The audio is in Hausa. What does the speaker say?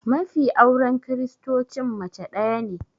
Mafi auren kiristocin mace daya ne